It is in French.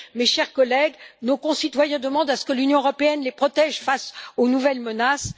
Mes chers collègues, nos concitoyens demandent à ce que l'Union européenne les protège face aux nouvelles menaces.